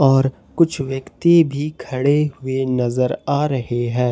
और कुछ व्यक्ति भी खड़े हुए नजर आ रहे हैं।